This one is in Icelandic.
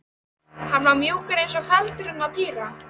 Hann var mjúkur eins og feldurinn á Týra.